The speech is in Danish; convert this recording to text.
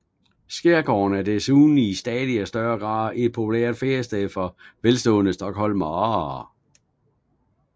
Skærgården er desuden i stadig større grad et populært feriested for velstående stockholmere